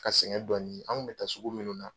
Ka sɛngɛ dɔɔni ye, an kun be taa sugu munnu na